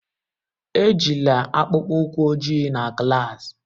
Ejila akpụkpọ ụkwụ ojii na klas!